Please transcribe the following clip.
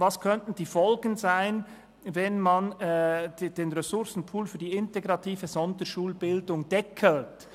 Was könnten die Folgen sein, wenn man den Ressourcenpool für die integrative Sonderschulbildung deckelt?